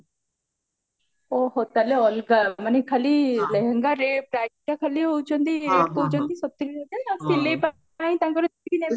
ଓହୋ ତାହେଲେ ଅଲଗା ମାନେ ଖାଲି ଲେହେଙ୍ଗରେ priceଟା ଖାଲି କହୁଚନ୍ତି ସତୁରୀ ହଜାର ଆଉ ସିଲେଇ ପାଇଁ ତାଙ୍କର ଯେତିକି ନେବେ ଆଉ